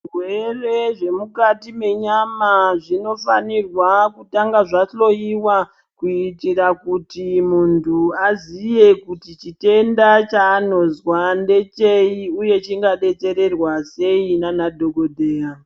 Zvirwere zvemukati menyama zvinofanirwa kutanga zvahloiwa kuitira kuti muntu aziye kuti chitenda chanozwa ndecheyi uye chingadetserwa sei nana dhokodheya.